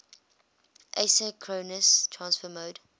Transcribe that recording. asynchronous transfer mode